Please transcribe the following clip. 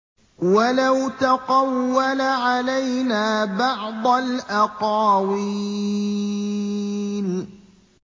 وَلَوْ تَقَوَّلَ عَلَيْنَا بَعْضَ الْأَقَاوِيلِ